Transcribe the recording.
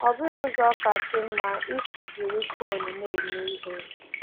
Ọ bụghị ụzọ kasị mma isi jiri fon na-eme ihe.